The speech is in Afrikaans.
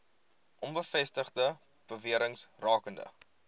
onbevestigde bewerings rakende